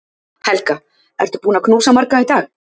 Helga: Ertu búin að knúsa marga í dag?